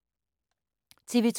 TV 2